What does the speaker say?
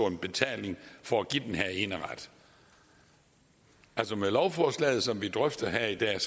en betaling for at give den her eneret med lovforslaget som vi drøfter her i dag er